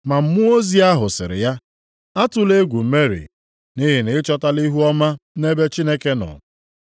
Ma mmụọ ozi ahụ sịrị ya, “Atụla egwu Meri, nʼihi na i chọtala ihuọma nʼebe Chineke nọ.